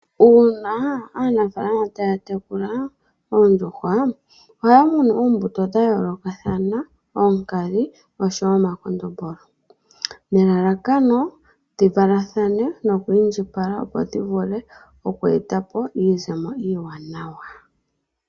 Una aanafalama taya tekula oondjuhwa, ohaya munu oombuto dha yoolokathana, oonkadhi oshowo omakondombolo, nelalakano dhi valathane noku indjipala, opo dhi vule oku etapo iizemo iiwanawa.